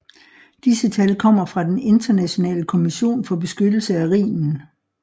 Disse tal kommer fra den Internationale Kommission for beskyttelse af Rhinen